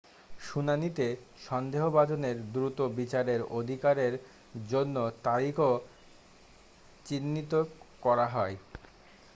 শুনানিতে সন্দেহভাজনের দ্রুত বিচারের অধিকারের জন্য তারিখও চিহ্নিত করা হয়